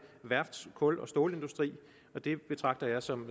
værfts kul og stålindustri og det betragter jeg som